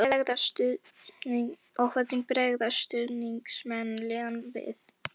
Og hvernig bregðast stuðningsmenn liðanna við?